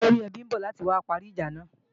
Olóríẹbí ń bọ̀ láti wá parí ìjà náà